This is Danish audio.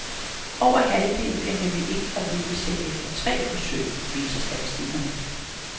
Over halvdelen bliver nemlig ikke gravide selv efter tre forsøg, viser statistikkerne.